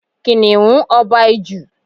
Kìnnìún ọba Ijù.